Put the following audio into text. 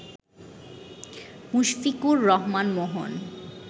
Mushfiqur Rahman Mohan